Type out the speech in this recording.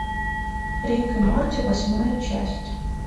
рик и морти восьмая часть